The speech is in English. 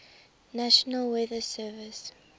national weather service